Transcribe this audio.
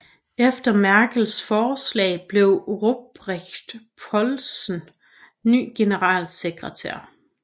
Efter Merkels forslag blev Ruprecht Polenz ny generalsekretær